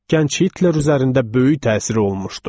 Gənc Hitler üzərində böyük təsiri olmuşdu.